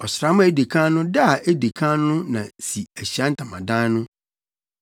“Ɔsram a edi kan no da a edi kan no na si Ahyiae Ntamadan no.